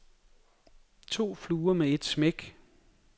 To fluer med et smæk.